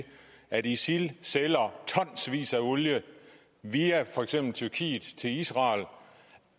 at isil sælger tonsvis af olie via for eksempel tyrkiet til israel